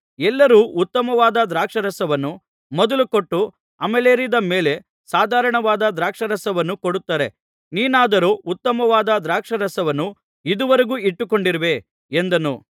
ಎಲ್ಲರೂ ಉತ್ತಮವಾದ ದ್ರಾಕ್ಷಾರಸವನ್ನು ಮೊದಲು ಕೊಟ್ಟು ಅಮಲೇರಿದ ಮೇಲೆ ಸಾಧಾರಣವಾದ ದ್ರಾಕ್ಷಾರಸವನ್ನು ಕೊಡುತ್ತಾರೆ ನೀನಾದರೋ ಉತ್ತಮವಾದ ದ್ರಾಕ್ಷಾರಸವನ್ನು ಇದುವರೆಗೂ ಇಟ್ಟುಕೊಂಡಿರುವೆ ಎಂದನು